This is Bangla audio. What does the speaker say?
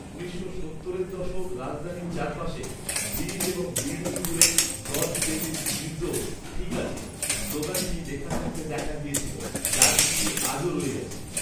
উনিশশো সত্তরের দশক রাজধানীর চারপাশে ব্রিজ এবং বিল্ডিং জুড়ে "জর্জ ডেভিস নির্দোষ, ঠিক আছে" স্লোগানটি লেখা থাকতে দেখা গিয়েছিল, যার কিছু আজও রয়ে গেছে।